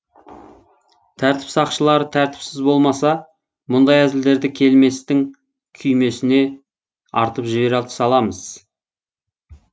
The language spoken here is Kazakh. тәртіп сақшылары тәртіпсіз болмаса мұндай әзілдерді келместің күймесіне артып жібере саламыз